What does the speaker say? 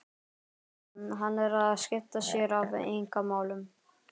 Hann er að skipta sér af einkamálum